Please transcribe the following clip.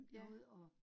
Ja